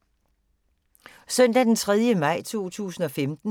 Søndag d. 3. maj 2015